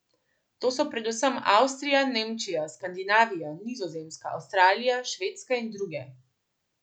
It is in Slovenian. To so predvsem Avstrija, Nemčija, Skandinavija, Nizozemska, Avstralija, Švedska in druge.